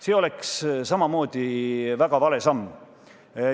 See oleks samamoodi väga vale samm.